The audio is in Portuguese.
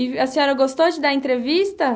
E a senhora gostou de dar entrevista?